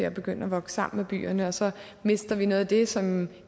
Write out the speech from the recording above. og begynder at vokse sammen med byerne og så mister vi noget af det som